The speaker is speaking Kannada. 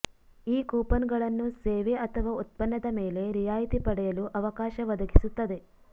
ಈ ಕೂಪನ್ಗಳನ್ನು ಸೇವೆ ಅಥವಾ ಉತ್ಪನ್ನದ ಮೇಲೆ ರಿಯಾಯಿತಿ ಪಡೆಯಲು ಅವಕಾಶ ಒದಗಿಸುತ್ತದೆ